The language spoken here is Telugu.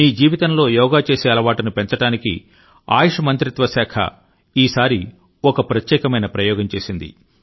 మీ జీవితంలో యోగా చేసే అలవాటును పెంచడానికి ఆయుష్ మంత్రిత్వ శాఖ ఈసారి ఒక ప్రత్యేకమైన ప్రయోగం చేసింది